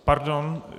Pardon.